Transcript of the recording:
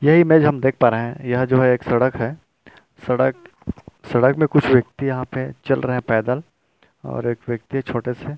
ये इमेज हम देख पा रहै है यह जो है एक सड़क है सड़क सड़क में कुछ व्यक्ति यहाँ पे चल रहै पैदल और हुए व्यक्ति छोटे से --